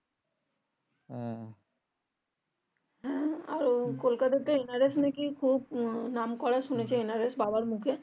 আর কোলকাতাতে NRS নাকি খুব নাম করা NRS শুনেছি বাবার মুখে